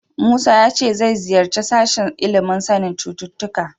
Musa ya ce zai ziyarci sashen ilimin sanin cututtuka.